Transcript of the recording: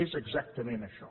és exactament això